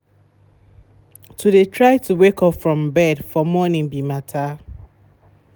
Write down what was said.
to de try to wake up from bed for morning be matter.